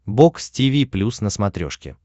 бокс тиви плюс на смотрешке